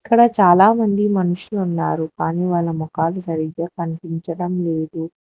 ఇక్కడ చాలామంది మనుషులు ఉన్నారు కానీ వాళ్ళ ముఖాలు సరిగ్గా కనిపించడం లేదు.